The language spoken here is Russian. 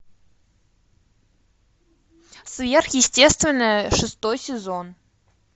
сверхъестественное шестой сезон